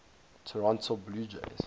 toronto blue jays